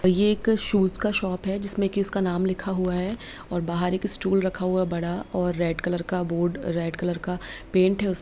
ये एक शूज का शॉप है जिसमें की उसका नाम लिखा हुआ है और बाहर एक स्टूल रखा हुआ है बड़ा और रेड कलर का बोर्ड रेड कलर का पेंट है उस --